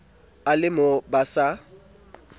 e le mo ba sa